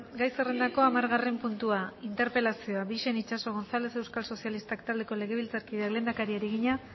gai zerrendako hamargarren puntua interpelazioa bixen ixaso gonzález euskal sozialistak taldeko legebiltzarkideak lehendakariari egina